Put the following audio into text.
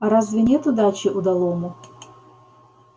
а разве нет удачи удалому